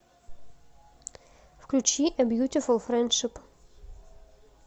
включи э бьютифул френдшип